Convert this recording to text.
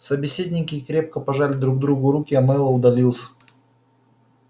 собеседники крепко пожали друг другу руки и мэллоу удалился